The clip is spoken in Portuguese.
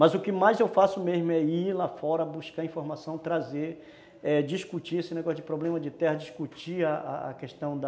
Mas o que mais eu faço mesmo é ir lá fora, buscar informação, trazer, é, discutir esse negócio de problema de terra, discutir a questão da